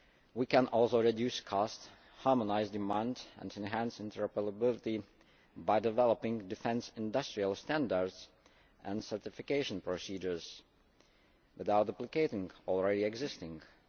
We can also reduce costs, harmonise demand and enhance interoperability by developing defence industrial standards and certification procedures, without duplicating already existing ones.